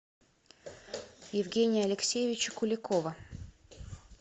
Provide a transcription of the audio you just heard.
евгения алексеевича куликова